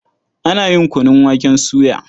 Ana yin kunun waken soya.